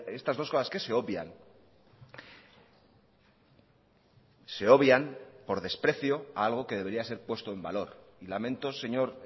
estas dos cosas que se obvian se obvian por desprecio a algo que debería ser puesto en valor y lamento señor